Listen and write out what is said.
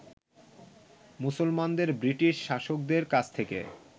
মুসলমানদের ব্রিটিশ শাসকদের কাছ থেকে